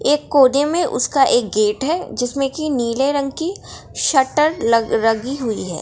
एक कोने में एक उसका गेट है। जिसमे की नीले रंग की शटर लगी हुई है।